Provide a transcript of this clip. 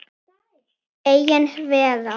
Ein vera.